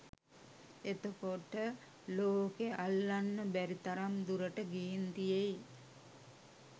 එතකොට ලෝකෙ අල්ලන්න බැරි තරම් දුරට ගිහින් තියෙයි